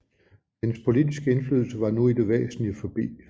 Hendes politiske indflydelse var nu i det væsentlige forbi